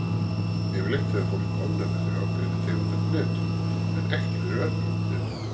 Yfirleitt hefur fólk ofnæmi fyrir ákveðinni tegund af hnetum, en ekki fyrir öllum hnetum.